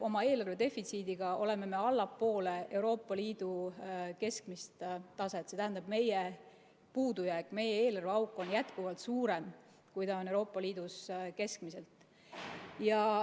Oma eelarve defitsiidiga oleme me allpool Euroopa Liidu keskmist taset, st meie puudujääk, meie eelarveauk on jätkuvalt suurem, kui see on Euroopa Liidus keskmiselt.